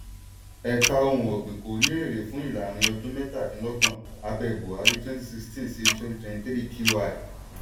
ẹ̀ka ohun ọ̀gbìn kò rí èrè fún ìlàrin-ọdún mọ́kàndínlọ́gbọ̀n abẹ́ buhari (2016-2023 q1).